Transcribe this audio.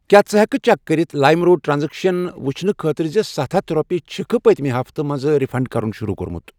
کیٛاہ ژٕ ہٮ۪کہٕ چیک کٔرِتھ لایِم روڈ ٹرانزیکشن یہِ ؤچھنہٕ خٲطرٕ زِ ستھَ ہتھَ رۄپیہِ چھِکھٕ پٔتمہِ ہفتہٕ منٛز رِفنڑ کرُن شروٗع کوٚرمُت؟